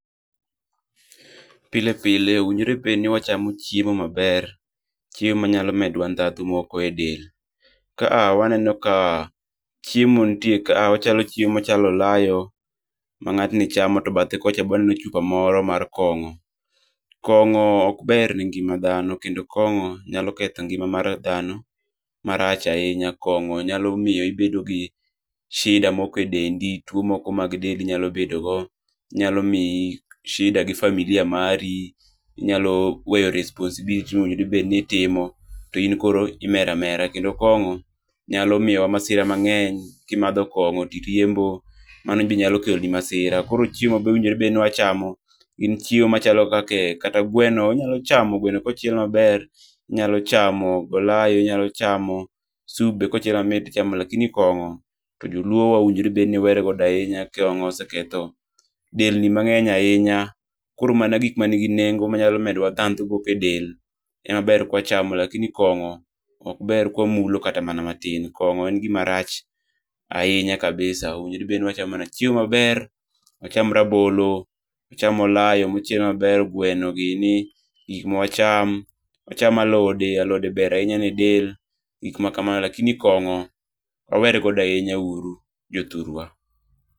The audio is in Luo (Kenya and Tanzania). Pile pile owinjore bed ni wachamo chiemo maber, chiemo manyalo medo wa ndandhu moko e del. Ka waneno ka chiemo moko nitie ka, chiemo machalo olayo mangatni chamo to bathe kocha be waneno chupa moro mar kongo. Kongo ok ber ne ngima dhano kendo kongo nyalo ketho ngima mar dhano marach ahinya ,kongo nyalo miyo ibedo gi shida moko e dendi ,tuo moko e dendi nyalo bedo go, nyalo miyo shida gi familia mari, inyalo weyo responsibility monego bed ni itmo, in koro imer amera, kendo kongo nyalo miyowa masira maber, kimadho kongo to iriembo, mano benyalo keloni masira. Koro chiemo mowinjore bedni wachamo gin chiemo machalo kaka kata gweno, inyalo chamo gweno kochiel maber, inyalo chamo olayo, inyalo chamo sup be kochiel mamit ichamo lakini kongo joluo owinjo obed ni werego ahinya. Kongo oseketho delni mangeny ahinya. Koro mana gikma nigi nengo manyalo medowa ndhandhu moko e del ema ber ka wachamo lakini kongo ok ber ka wamulo kata matin. Kongo en gima rach ahinya kabisa, onego bedni wachamo chiemo maber, wacham rabolo, wacham olayo mochiel maber, gweno gini, gik ma wacham, wacham alode alode ber ahinya ne del, gikma kamano lakini kongo wawere godo uru jothurwa